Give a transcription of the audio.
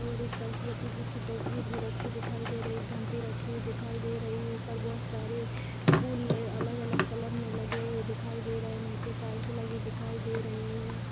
और एक सरस्वती जी की तस्वीर भी रखी दिखाई दे रही है एक घंटी रखी हुई दिखाई दे रही है ऊपर् बहुत सारे फूल अलग अलग कलर के लगे हुए दिखाई दे रहे है नीचे टाइल्स लगी दिखाई दे रही है।